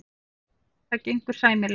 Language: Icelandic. Það gengur sæmilega.